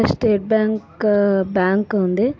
State bank bank ఉంది.